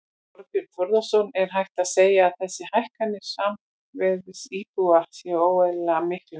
Þorbjörn Þórðarson: Er hægt að segja að þessar hækkanir raunverðs íbúða séu óeðlilega miklar?